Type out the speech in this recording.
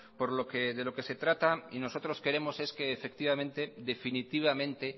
por lo que de lo que se trata y nosotros queremos es que definitivamente